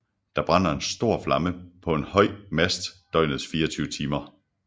Der brænder en stor flamme på en høj mast døgnets 24 timer